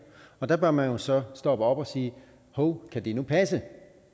og der bør man jo så stoppe op og sige hov kan det nu passe